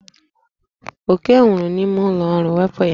Oke nwụrụ n'ime ụlọ ọrụ, wepụ ya!